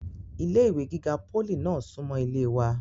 ilé ìwé gíga pólì náà súnmọ́ ilé wa